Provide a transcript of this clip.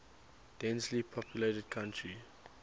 densely populated country